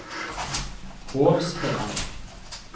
Hovsherad